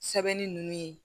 Sɛbɛnni nunnu ye